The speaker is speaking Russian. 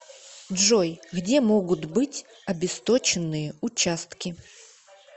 джой где могут быть обесточенные участки